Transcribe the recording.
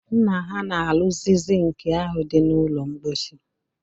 Nna ha na-arụzi sink ahụ dị n'ụlọ mkposi